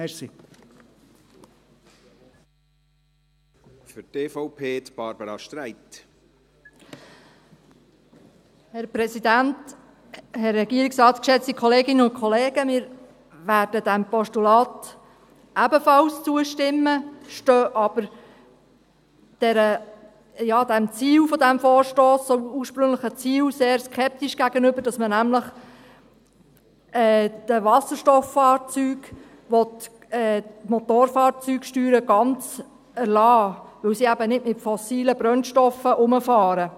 Wir werden diesem Postulat ebenfalls zustimmen, stehen aber dem Ziel des Vorstosses, dem ursprünglichen Ziel, sehr skeptisch gegenüber, wonach man nämlich den Wasserstofffahrzeugen die Motorfahrzeugsteuern ganz erlässt, weil sie eben nicht mit fossilen Brennstoffen herumfahren.